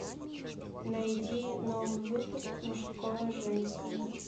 найди новый выпуск мужское женское